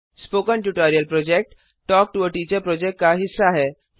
spoken tutorial project talk to a teacher project का हिस्सा है